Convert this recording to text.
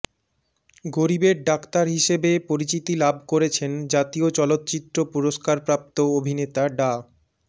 গরিবের ডাক্তার হিসেবে পরিচিতি লাভ করেছেন জাতীয় চলচ্চিত্র পুরস্কারপ্রাপ্ত অভিনেতা ডা